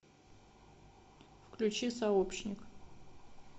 включи сообщник